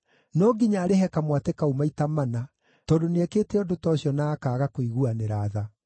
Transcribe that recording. No nginya arĩhe kamwatĩ kau maita mana, tondũ nĩekĩte ũndũ ta ũcio na akaaga kũiguanĩra tha.”